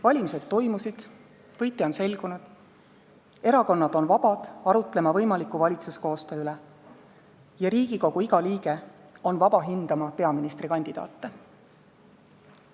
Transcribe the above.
Valimised toimusid, võitja on selgunud, erakonnad on vabad arutlema võimaliku valitsuskoostöö üle ja Riigikogu iga liige on vaba hindama peaministrikandidaate.